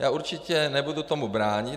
Já určitě nebudu tomu bránit.